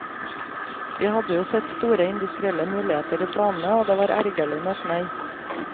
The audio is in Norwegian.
Vi hadde jo sett store industrielle muligheter i planene, og det var ergerlig med et nei.